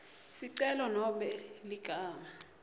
sicelo nobe ligama